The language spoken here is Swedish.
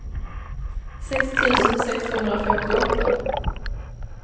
sex tusen sexhundrafemtioåtta